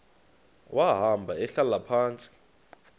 wahamba ehlala phantsi